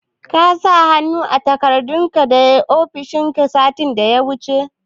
Ka sa hannu a takardun dana kai ofishin ka, satin da ya wuce?